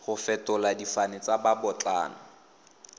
go fetola difane tsa babotlana